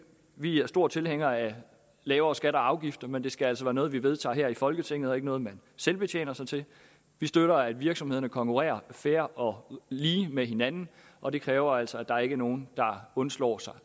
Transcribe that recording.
vi er store tilhængere af lavere skatter og afgifter men det skal altså være noget vi vedtager her i folketinget og ikke noget man selvbetjener sig til vi støtter at virksomhederne konkurrerer fair og lige med hinanden og det kræver altså at der ikke er nogen der undslår sig